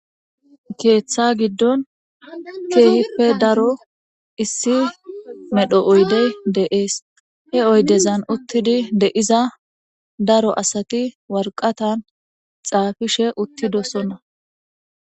Keeththa giddon keehi daro issi medho oyde de7ees. He oydezan uttidi de7iza daro asati waraqatan xaafishe uttidosona.